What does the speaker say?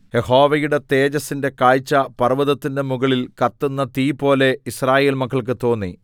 യഹോവയുടെ തേജസ്സിന്റെ കാഴ്ച പർവ്വതത്തിന്റെ മുകളിൽ കത്തുന്ന തീപോലെ യിസ്രായേൽ മക്കൾക്ക് തോന്നി